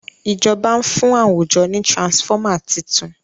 ìjọba n fún àwùjọ ní transformer títún.